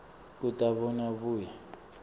kute abone abuye